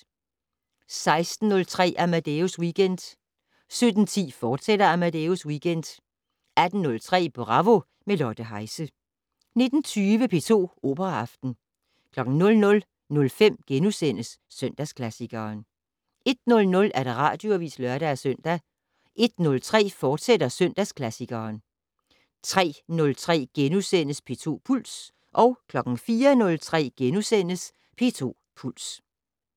16:03: Amadeus Weekend 17:10: Amadeus Weekend, fortsat 18:03: Bravo - med Lotte Heise 19:20: P2 Operaaften 00:05: Søndagsklassikeren * 01:00: Radioavis (lør-søn) 01:03: Søndagsklassikeren, fortsat 03:03: P2 Puls * 04:03: P2 Puls *